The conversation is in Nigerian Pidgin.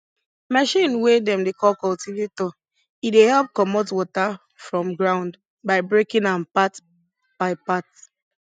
machine wey dem dey call cultivator e dey help commot water from ground by breaking am part by part